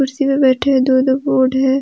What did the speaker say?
कुर्सी पे बैठे हैं दोनों कौन हैं।